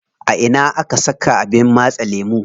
A ina aka saka abin matse lemu?